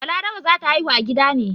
Balaraba za ta haihu a gida ne.